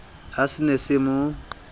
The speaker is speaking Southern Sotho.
ha se ne se mo